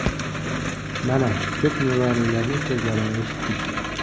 Mana, ko‘p nuroniylarning so‘zlarini eshitdik.